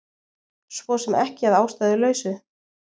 Svo sem ekki að ástæðulausu